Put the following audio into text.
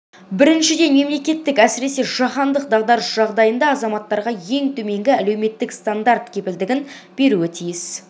біріншіден мемлекет әсіресе жаһандық дағдарыс жағдайында азаматтарға ең төменгі әлеуметтік стандарт кепілдігін беруі тиіс